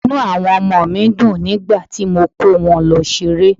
Inú àwọn ọmọ mi dùn nígbà tí mo kó wọn lọ ṣeré.